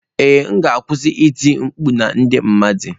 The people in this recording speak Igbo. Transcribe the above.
Ee m ga-akwụsị iti mkpu na ndị mmadụ.